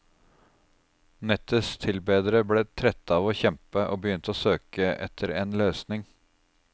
Nettets tilbedere ble trette av å kjempe, og begynte å søke etter en løsning.